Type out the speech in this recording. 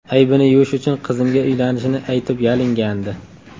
Aybini yuvish uchun qizimga uylanishini aytib yalingandi.